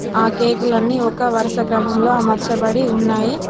ఆ కేకులన్నీ ఒక వరుస క్రమంలో అమర్చబడి ఉన్నాయి.